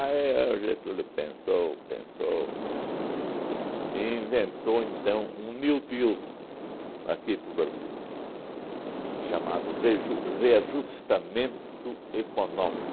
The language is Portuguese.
o Getúlio pensou, pensou e inventou então um New Deal aqui para o Brasil chamado Reju Reajustamento Econômico.